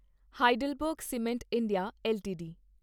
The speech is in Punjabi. Heidelberg cement India LTD